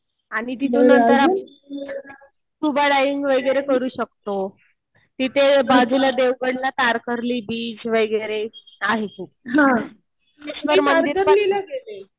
आणि तिथून नंतर स्कुबा डायविंग वगैरे करू शकतो. तिथे बाजूला देवगडला कातरली बीच वगैरे आहे ते. त्याच्यावर मंदिर पण